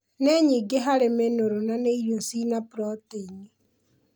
Nĩ nyingĩ harĩ mĩnũrũ na nĩ irio cina protaini